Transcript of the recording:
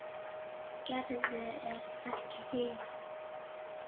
Gerður er ekki hrifin.